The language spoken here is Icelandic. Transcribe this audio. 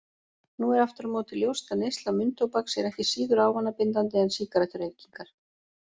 Nú er aftur á móti ljóst að neysla munntóbaks er ekki síður ávanabindandi en sígarettureykingar.